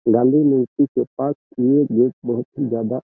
गांधी मूर्ति के पास ये गेट बहुत ही ज्यादा --